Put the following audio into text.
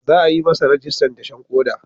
Za a yi masa rajistan dashen koda.